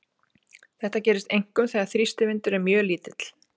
Þetta gerist einkum þegar þrýstivindur er mjög lítill.